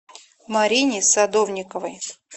марине садовниковой